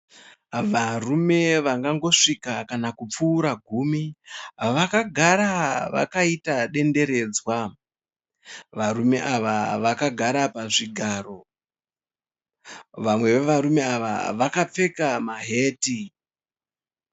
Varume vangangosvika kana kupfuura gumi. Vakagara vakaita denderedzwa. Varume ava vakagara pazvigaro. Vamwe vevarume ava vakapfeka maheti.